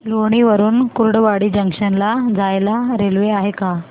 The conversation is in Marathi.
लोणी वरून कुर्डुवाडी जंक्शन ला जायला रेल्वे आहे का